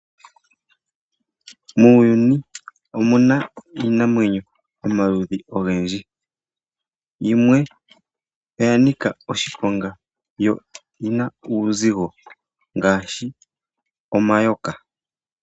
Muuyuni omuna iinamwenyo yomaludhi ogendji yimwe oya nika oshiponga, yo oyina uuzigo ngaashi omayoka.